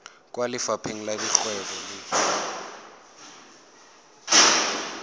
kwa lefapheng la dikgwebo le